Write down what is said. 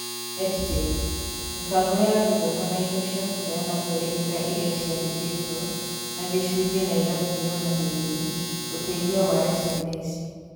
EdTech: Mĩbango ya gĩthomo na indo cia kũheana mwerekera iria ciandĩkĩtwo na gĩcunjĩ na igakinywo na gĩthimi; ũteithio wa SMS